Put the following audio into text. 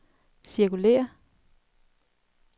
cirkulér